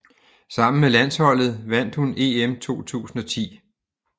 Sammen med landsholdet vandt hun EM 2010